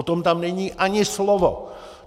O tom tam není ani slovo.